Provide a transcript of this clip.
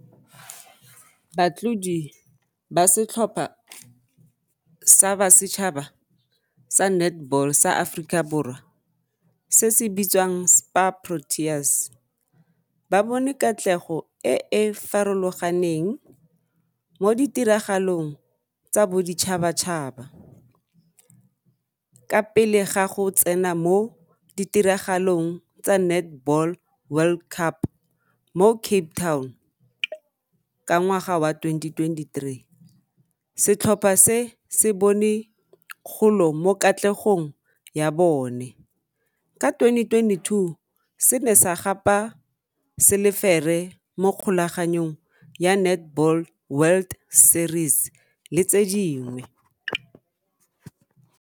Batlodi ba setlhopha sa basetšhaba sa netball sa Aforika Borwa se se bitswang SPAR Proteas ba bone katlego e e farologaneng mo ditiragalong tsa boditšhabatšhaba ka pele ga go tsena mo ditiragalong tsa Netball World Cup mo Cape Town ka ngwaga wa twenty twenty-three, setlhopha se se bone kgolo mo katlegong ya bone, ka twenty twenty-two se ne sa gapa selefere mo kgolaganong ya Netball World Series le tse dingwe.